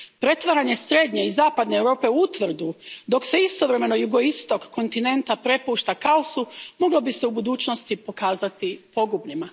Pretvaranje srednje i zapadne Europe u utvrdu, dok se istovremeno jugoistok kontinenta prepušta kaosu, moglo bi se u budućnosti pokazati pogubnim.